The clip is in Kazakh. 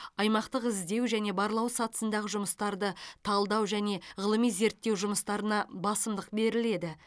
аймақтық іздеу және барлау сатысындағы жұмыстарды талдау және ғылыми зерттеу жұмыстарына басымдық беріледі